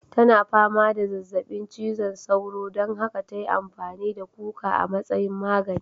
Tana fama da zazzabin cizon sauro don haka ta yi amfani da kuka a matsayin magani.